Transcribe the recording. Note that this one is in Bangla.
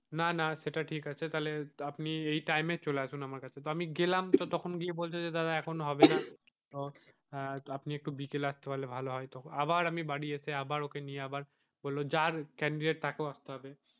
না না সেটা ঠিক আছে তাহলে আপনি এই time এ চলে আসুন আমার কাছে তো আমি গেলাম তখন গিয়ে বলছে দাদা এখন হবে না তো আপনি একটু বিকেলে আসতে পারলে ভালো হয় তো আবার আমি বাড়ি এসে আবার ওকে নিয়ে বললো যার candidate তাকে আসতে হবে,